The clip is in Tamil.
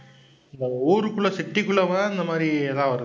இப்ப ஊருக்குள்ள city க்குள்ள போனா இந்த மாதிரி ஏதாவது வருது.